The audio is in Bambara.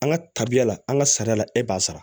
An ka tabiya la an ka sariya la e b'a sara